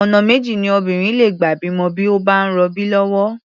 Ọ̀nà méjì ni obìnrin lè gbà bímọ bí ó bá ń rọbí lọ́wọ́.